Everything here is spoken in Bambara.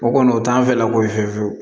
O kɔni o t'an fɛ lako ye fiyewu fiyewu